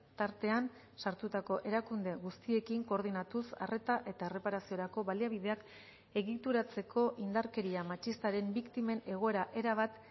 tartean sartutako erakunde guztiekin koordinatuz arreta eta erreparaziorako baliabideak egituratzeko indarkeria matxistaren biktimen egoera erabat